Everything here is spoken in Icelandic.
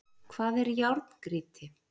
Hvað er járngrýti?